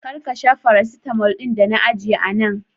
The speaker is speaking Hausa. Kar ka sha farasitalmo ɗin da na aje a nan.